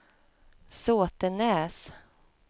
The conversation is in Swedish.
Såtenäs